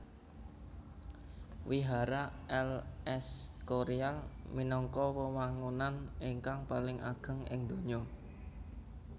Wihara El Escorial minangka wewangunan ingkang paling ageng ing donya